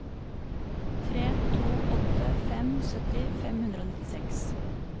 tre to åtte fem sytti fem hundre og nittiseks